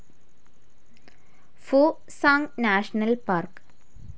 ഫോ സാങ്‌ national park